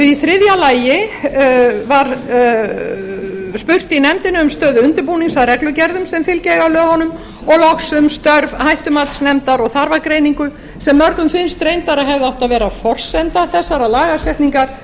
í þriðja lagi var spurt í nefndinni um stöðu undirbúnings að reglugerðum sem fylgja eiga lögunum og loks um störf hættumatsnefndar og þarfagreiningu sem mörgum finnst reyndar að hefði átt að vera forsenda þessarar lagagreiningar